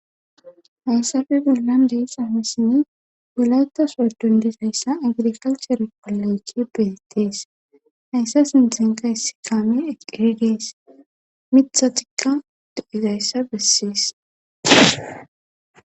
hayssafe gollan deys aamisini gulawettas adundizayssa agiri kalchare koloycki beetettees hayssa sinden ka hissi kaami eqqeridees mitha tikka do7ezayssa bessees